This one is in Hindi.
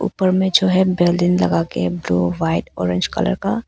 ऊपर में जो है बैलून लगा के ब्लू व्हाइट ऑरेंज कलर का--